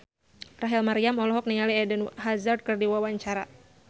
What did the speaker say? Rachel Maryam olohok ningali Eden Hazard keur diwawancara